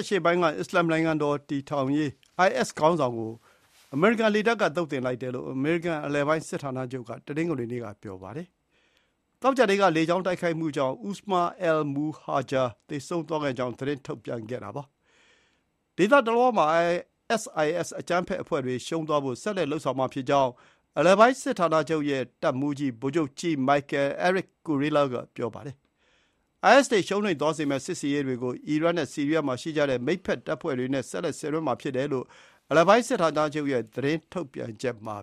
အရှေ့ပိုင်းက အစ္စလာမ်နိုင်ငံတော် တည်ထောင်ရေးအိုင်အက်စ် ခေါင်းဆောင်တယောက် ကို အမေရိကန် လေတပ်က သုတ်သင်လိုက်တယ်လို့ အမေရိကန် အလယ်ပိုင်း စစ်ဌာနချုပ် က တနင်္ဂနွေနေ့မှာ ပြောပါတယ်။ သောကြာနေ့က လေကြောင်းတိုက်ခိုက်မှုကြောင့် အူစမာ အယ် မူဟာဂျာ Usamah al-Muhajir သေဆုံးသွားခဲ့ကြောင်း သတင်း ထုတ်ပြန်ခဲ့တာပါ။ ဒေသတလွှားမှာ အိုင်အက်စ်အိုင်အက်စ် အကြမ်းဖက်အဖွဲ့တွေ ရှုံးသွားဖို့ ဆက်လက် လုပ်ဆောင်မှာဖြစ်ကြောင်း အလယ်ပိုင်း စစ်ဌာနချုပ် ရဲ့ တပ်မှူးကြီး ဗိုလ်ချုပ်ကြီး Michael “Erik” Kurilla က ပြောပါတယ်။ အိုင်အက်စ်တွေ ရှုံးနိမ့်သွားစေမယ့် စစ်ဆင်ရေးတွေ ကို အီရတ် နဲ့ ဆီရီးယား မှာ ရှိကြတဲ့ မိတ်ဘက် တပ်ဖွဲ့တွေ နဲ့ ဆက်လက် ဆင်နွှဲမှာ ဖြစ်တယ်လို့ အလယ်ပိုင်း စစ်ဌာနချုပ် ရဲ့ သတင်းထုတ်ပြန်ချက် မှာ